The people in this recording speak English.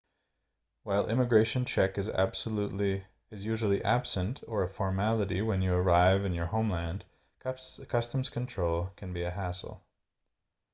while immigration check is usually absent or a formality when you arrive in your homeland customs control can be a hassle